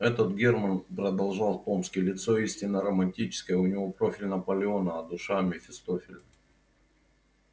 этот германн продолжал томский лицо истинно романтическое у него профиль наполеона а душа мефистофеля